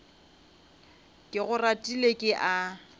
ke go ratile ke a